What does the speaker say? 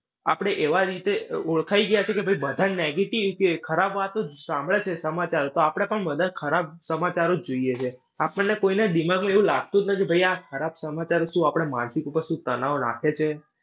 આપણે એવા રીતે ઓળખાય ગયા છે કે ભાઈ બધા negative કે ખરાબ વાતો જ સાંભળે છે સમાચાર. તો આપણે પણ બધા ખરાબ સમાચારો જ જોઈએ છે. આપણને કોઈને દિમાગમાં એવું લાગતું જ નથી ભાઈ આ ખરાબ સમાચાર શું આપણા માનસીક ઉપર શું તણાવ નાંખે છે.